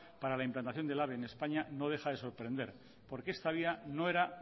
para la implantación del ave en españa no deja de sorprender porque esta vía no era